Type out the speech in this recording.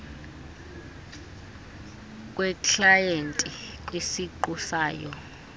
kweklayenti kwisiqu sayo